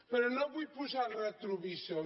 però no vull posar el retrovisor